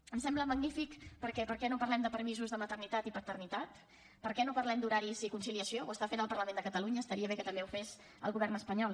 em sembla magnífic perquè per què no parlem de permisos de maternitat i paternitat per què no parlem d’horaris i conciliació ho està fent el parlament de catalunya estaria bé que també ho fes el govern espanyol